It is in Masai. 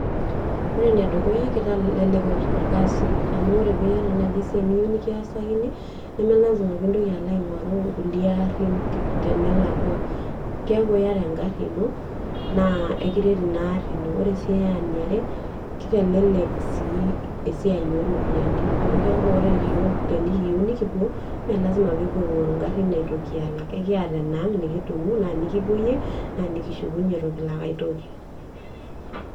Ore enedukuya keitelelek orkasi amu ore ore nai peiyata esiai niyieu nikiasakini namelasima peilo aingoru nkulie arin tenelakwa, keaku iyata engari ino ,naa ekiret inaari ino, ore sii eniare, keitelelek sii esiai oropiyiani amu keaku yiok tenikiyieu nikipuo, me lazima pekipuo aingoru ngarin aitoki ata ekiata enaang ,na nikipoyie nikishukunye itu kilak aitoki .